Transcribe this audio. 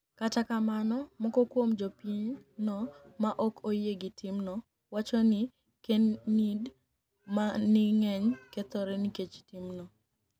Kata kamano, moko kuom jopiny no ma ok oyie gi timno, wacho nii kenid manig'eniy kethore niikech timno.